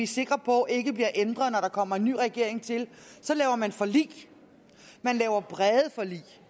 sikre på ikke bliver ændret når der kommer en ny regering til så laver man forlig man laver brede forlig